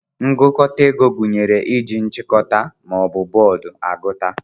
Ngụkọta ego gụnyere iji "nchikota" ma ọ bụ bọọdụ agụta.